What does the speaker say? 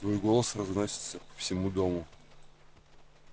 твой голос разносится по всему дому